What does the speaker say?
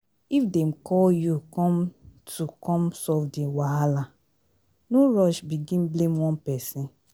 if dem call you come to come solve di wahala no rush begin blame one person